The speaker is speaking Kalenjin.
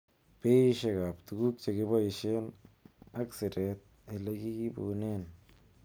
Beishek ab tuguk chekiboishen ak siretab ele kiibunen.